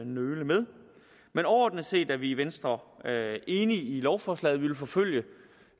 nøle med men overordnet set er vi i venstre enige i lovforslaget vi vil forfølge